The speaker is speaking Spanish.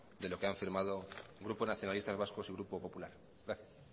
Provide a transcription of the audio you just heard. de lo que han firmado grupo nacionalistas vascos y grupo popular gracias